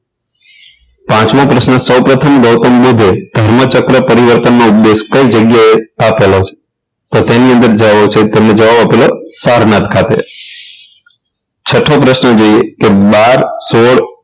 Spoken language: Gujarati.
પાંચમો પ્રશ્ન સૌ પ્રથમ ગૌતમ બુદ્ધે બ્રહ્મચક્ર પરિવર્તનનો ઉપદેશ કઈ જગ્યાએ આપેલો છે તેમનો જવાબ આપેલો સારનાથ ખાતે છઠ્ઠો પ્રશ્ન જોઈએ કે બાર સોળ